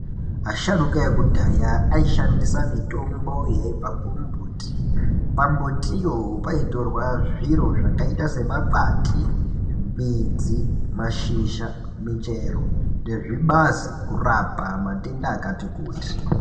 Asharukaa ekudhayaa aishandisa mitombo yaibva kumumbuti, pambutiyo paitorwaa zviro zvakaita semakwati, midzi , mashizha , michero nezvibazii kurapa matenda akati kutii.